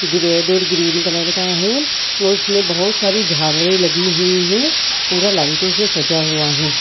गृह door green colour का है औ उसमें बोहोत सारे झालरें लगी हुई हैं। पूरा लाइटों से सजा हुआ हैं।